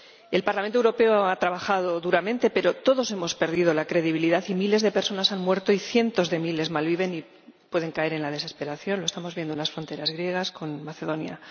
El Parlamento Europeo ha trabajado duramente pero todos hemos perdido la credibilidad y miles de personas han muerto y cientos de miles malviven y pueden caer en la desesperación —lo estamos viendo en las fronteras griegas con Macedonia—.